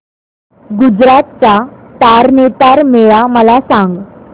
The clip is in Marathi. गुजरात चा तारनेतर मेळा मला सांग